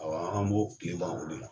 Aw an b'o kile ban o de la.